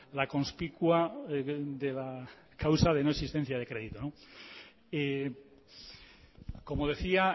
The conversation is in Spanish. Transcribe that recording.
la conspicua de la causa de no existencia de crédito como decía